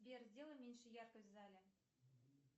сбер сделай меньше яркость в зале